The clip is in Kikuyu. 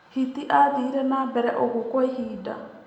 Hiti aathire na mbere ũguo kwa ihinda.